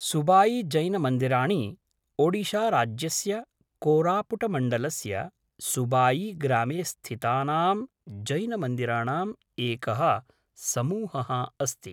सुबाईजैनमन्दिराणि ओडिशाराज्यस्य कोरापुटमण्डलस्य सुबाईग्रामे स्थितानां जैनमन्दिराणाम् एकः समूहः अस्ति।